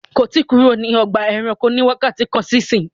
kò tí kúrò ní Ọgbà ẹranko ní wakati kán sí ìsìn!